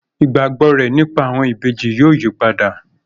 Ìgbàgbọ́ rẹ̀ nípa àwọn ìbejì yóò yípadà